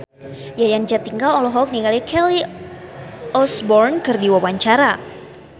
Yayan Jatnika olohok ningali Kelly Osbourne keur diwawancara